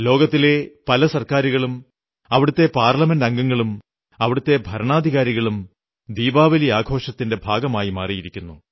ലോകത്തിലെ പല സർക്കാരുകളും അവിടത്തെ പാർലമെന്റംഗങ്ങളും അവിടത്തെ ഭരണാധികാരികളും ദീപാവലി ആഘോഷത്തിന്റെ ഭാഗമായിക്കൊണ്ടിരിക്കുന്നു